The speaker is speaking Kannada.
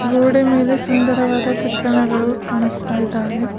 ಗೋಡೆಯ ಮೇಲೆ ಸುಂದರವಾದ ಚಿತ್ರಣಗಳು ಕಾಣಸ್ತಾಇದಾವೆ.